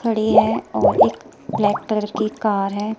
खड़ी है और एक ब्लैक कलर की कार है।